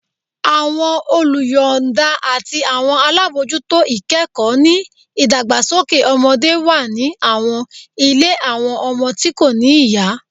Awọn oluyọọda ati awọn alabojuto ikẹkọ ni idagbasoke ọmọde wa ni awọn ile awọn ọmọ ti ko ni iya